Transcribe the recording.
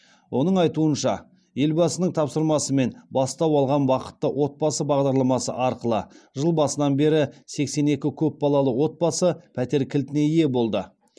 оның айтуынша елбасының тапсырмасымен бастау алған бақытты отбасы бағдарламасы арқылы жыл басынан бері сексен екі көпбалалы отбасы пәтер кілтіне ие болды